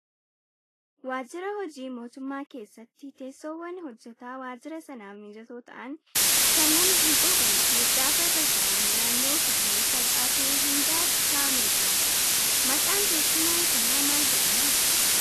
Waajjira hojii mootummaa keessatti teessoowwan hojjataa waajjira sanaaf mijatoo ta'an kan nama hin quuqnee fi gaafa irra taa'an naanna'uuf illee salphaa ta'e hundaaf kaa'amee jira. Maqaan teessuma kanaa maal jedhama?